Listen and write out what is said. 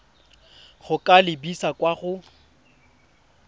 go ka lebisa kwa go